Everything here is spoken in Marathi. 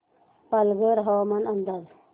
पालघर हवामान अंदाज